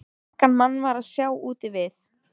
Engan mann var að sjá úti við.